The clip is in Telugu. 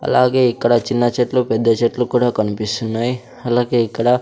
అలాగే ఇక్కడ చిన్న చెట్లు పెద్ద చెట్లు కూడా కనిపిస్తున్నాయి అలాగే ఇక్కడ.